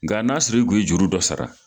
Nka n'a siri kun ye juru dɔ sara